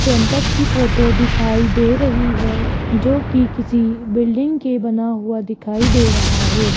Campus की photo दिखाई दे रही है जो कि किसी बिल्डिंग के बना हुआ दिखाई दे रहा है।